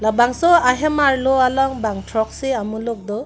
bangso ahem arlo along bang throksi amuluk do.